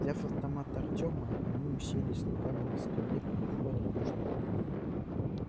взяв автомат артема они уселись на каменной скамье перед входом в южный туннель